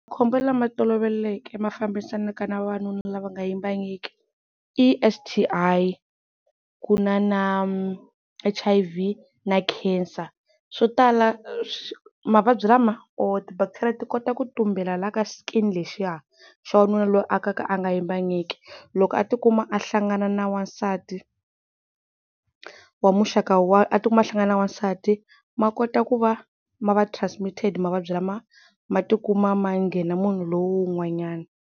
Makhombo lama toloveleke lama fambisanaka na vavanuna lava nga yimbangiki i S_T_I ku na na H_I_V na Khensa swo tala mavabyi lama o ti-bacteria ti kota ku tumbela lahaya ka skin-i lexiya xa wanuna loyu o ka a nga yimbangiki. Loko a ti kuma a hlangana na wansati wa muxaka wa a ti kuma a hlangana na wasati ma kota ku va ma va transmitted mavabyi lama ma ti kuma ma nghena munhu lowu n'wanyana.